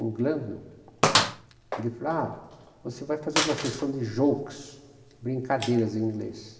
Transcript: O, ele falava, você vai fazer uma sessão de jokes, brincadeiras em inglês.